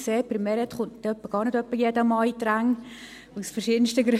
Sie sehen, bei Meret Schindler kommt nicht jeder Mann in die Ränge, aus verschiedensten Gründen.